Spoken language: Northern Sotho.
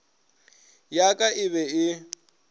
ya ka e be e